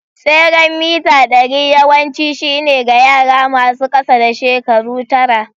Tseren mita ɗari yawanci shine ga yara masu ƙasa da shekaru tara.